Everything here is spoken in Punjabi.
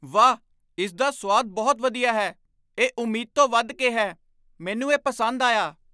ਵਾਹ! ਇਸਦਾ ਸੁਆਦ ਬਹੁਤ ਵਧੀਆ ਹੈ, ਇਹ ਉਮੀਦ ਤੋਂ ਵਧ ਕੇ ਹੈ। ਮੈਨੂੰ ਇਹ ਪਸੰਦ ਆਇਆ।